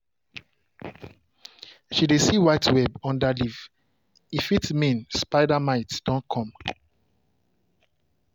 she dey see white web under leaf — e fit mean spider mite don come.